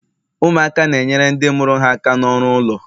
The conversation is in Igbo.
ụmụaka na-enyere ndị mụrụ ha aka n'ọrụ ụlọ